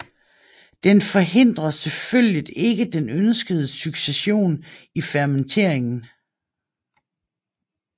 Den forhindrer selvfølgelig ikke den ønskede succession i fermenteringen